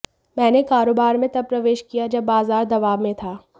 मैंने कारोबार में तब प्रवेश किया जब बाजार दबाव में था